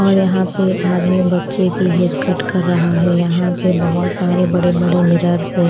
और यहां पे आदमी बच्चे की हेयर कट कर रहा है यहां पे बहोत सारे बड़े बड़े मिरर्स हैं।